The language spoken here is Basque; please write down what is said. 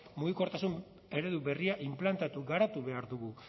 mugikortasun eredu berria inplantatu garatu behar dugu